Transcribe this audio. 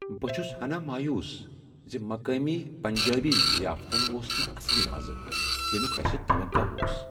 بہٕ چھُس ہنا مایوس ز مقٲمی پنجٲبی ضیافتن اوس نہٕ اصلی مزٕ ، ییمِیُک اسہِ توقع اوس ۔